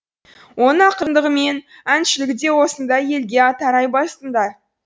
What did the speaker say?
оның ақындығы мен әншілігі де осында елге тарай бастында